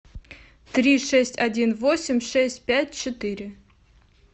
три шесть один восемь шесть пять четыре